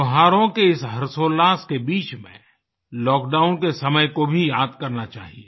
त्योहारों के इस हर्षोल्लास के बीच में लॉकडाउन के समय को भी याद करना चाहिए